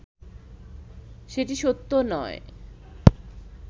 সেটি সত্য নয়